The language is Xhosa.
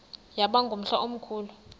yaba ngumhla omkhulu